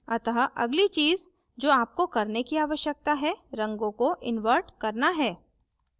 अतः अगली चीज़ जो आपको करने की आवश्यकता है रंगों को invert करना है